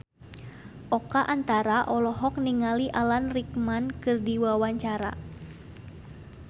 Oka Antara olohok ningali Alan Rickman keur diwawancara